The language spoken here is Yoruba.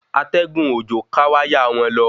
Atẹ́gùn òjò ká wáyà won lo